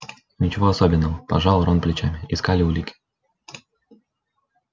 ничего особенного пожал рон плечами искали улики